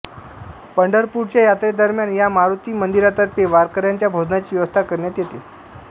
पंढरपूरच्या यात्रेदरम्यान या मारुती मंदिरातर्फे वारकऱ्यांच्या भोजनाची व्यवस्था करण्यात येते